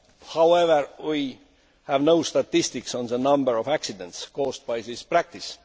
However, we have no statistics on the number of accidents caused by this practice.